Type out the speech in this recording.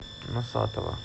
носатова